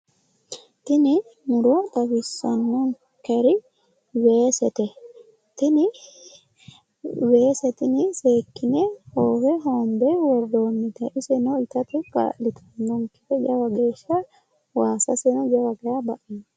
tini muro xawissannonkerei weesete tini weese tini seekkine hoowe hoombe worroonnite iseno itate kaa'litannonkete jawa geeshsha waasaseno jawa geeshsha baxeemma.